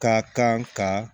Ka kan ka